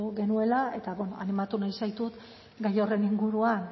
genuela eta animatu nahi zaitut gai horren inguruan